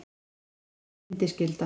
Þetta er kallað bindiskylda.